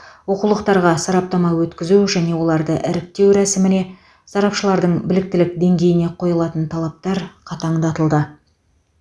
оқулықтарға сараптама өткізу және оларды іріктеу рәсіміне сарапшылардың біліктілік деңгейіне қойылатын талаптар қатаңдатылды